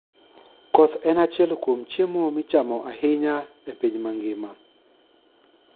Koth en achiel kuom chiemo michamo ahinya e piny mangima.